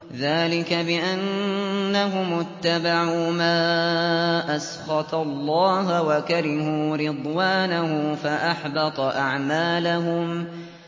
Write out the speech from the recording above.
ذَٰلِكَ بِأَنَّهُمُ اتَّبَعُوا مَا أَسْخَطَ اللَّهَ وَكَرِهُوا رِضْوَانَهُ فَأَحْبَطَ أَعْمَالَهُمْ